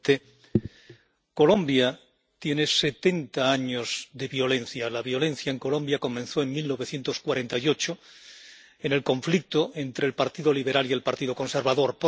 Señor presidente, Colombia tiene setenta años de violencia. La violencia en Colombia comenzó en 1948, con el conflicto entre el Partido Liberal y el Partido Conservador.